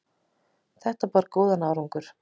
Þetta bar góðan árangur.